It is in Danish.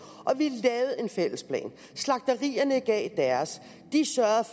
vi lavede en fælles plan slagterierne gav deres de sørgede